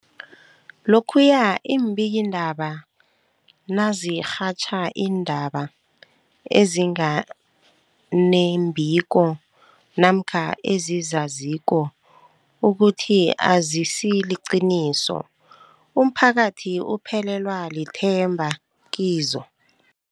Lokhuya iimbikiindaba nazirhatjha iindaba ezinga nembiko namkha ezizaziko ukuthi azisiliqiniso, umphakathi uphelelwa lithemba kizo.